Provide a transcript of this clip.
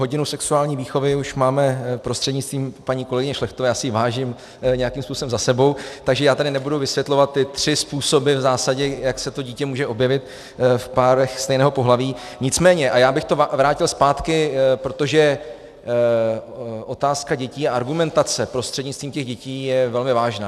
Hodinu sexuální výchovy už máme prostřednictvím paní kolegyně Šlechtové, já si jí vážím, nějakým způsobem za sebou, takže já tady nebudu vysvětlovat ty tři způsoby, v zásadě jak se to dítě může objevit v párech stejného pohlaví, nicméně - a já bych to vrátil zpátky, protože otázka dětí a argumentace prostřednictvím těch dětí je velmi vážná.